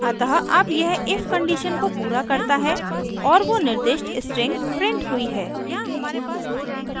अतः अब यह if कंडीशन को पूरा करता है और वो निर्दिष्ट स्ट्रिंग प्रिंट हुई है